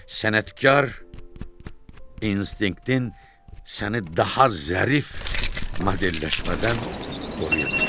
sənətkar instinktin səni daha zərif modelləşmədən qoruya bilib.